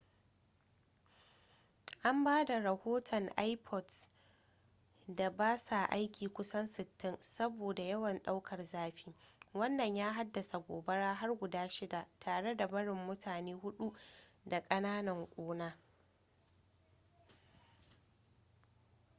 an ba da rohoton ipods da ba sa aiki kusan 60 saboda yawan ɗaukar zafi wannan ya haddasa gobara har guda shida tare da barin mutane hudu da kananan ƙuna